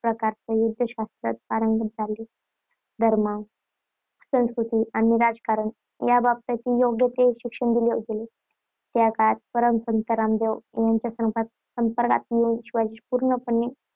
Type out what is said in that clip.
प्रकारच्या युद्धशास्त्रात पारंगत झाले. धर्म, संस्कृती आणि राजकारण याबाबतही योग्य ते शिक्षण दिले गेले. त्या काळात परम संत रामदेव यांच्या संपर्क संपर्कात येऊन शिवाजी पूर्णपणे